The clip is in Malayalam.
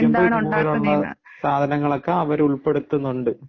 ഇതുപോലുള്ള സാധനങ്ങള് ഒക്കെ അവർ ഉള്‍പ്പെടുത്തുന്നു ഉണ്ട്